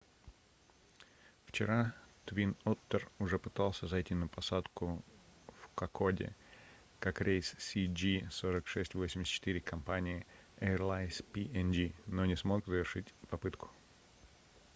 вчера twin otter уже пытался зайти на посадку в кокоде как рейс cg4684 компании airlines png но не смог завершить попытку